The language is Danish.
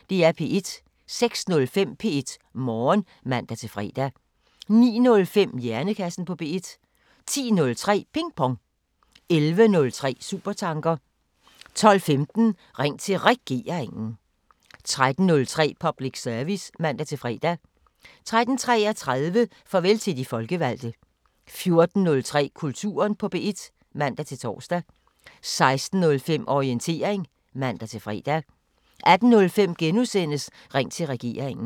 06:05: P1 Morgen (man-fre) 09:05: Hjernekassen på P1 10:03: Ping Pong 11:03: Supertanker 12:15: Ring til Regeringen 13:03: Public Service (man-fre) 13:33: Farvel til de folkevalgte 14:03: Kulturen på P1 (man-tor) 16:05: Orientering (man-fre) 18:05: Ring til Regeringen *